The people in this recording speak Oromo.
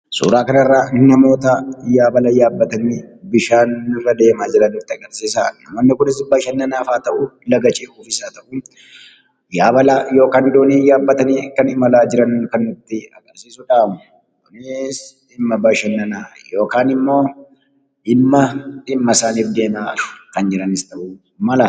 Suuraa kana irraa namoota Yabaalaa yabatani deema jiraan nuti agarsisa. Namooni kunis bashanaanafis haa ta'u laga ce'uuf Yaabaalaa yookiin dooni yabatani kan imalaa jiraan kan nuti agarsisuudha. Kunis dhimaa bashana yookaan immimmoo dhimaa dhimmaa isaaniif deema jiraan kan ta'